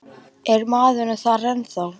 Er maðurinn þar ennþá?